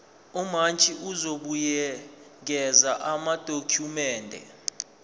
umantshi uzobuyekeza amadokhumende